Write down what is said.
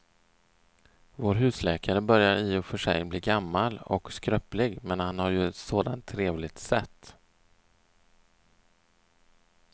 Vår husläkare börjar i och för sig bli gammal och skröplig, men han har ju ett sådant trevligt sätt!